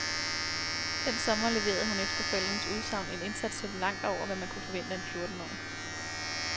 Den sommer leverede hun efter forældrenes udsagn en indsats, der lå langt over, hvad man kunne vente af en fjortenårig.